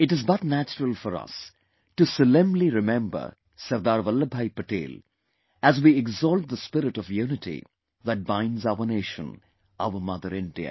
It is but natural for us to solemnly remember SardarVallabhbhai Patel as we exalt the spirit of unity that binds our Nation, our Mother India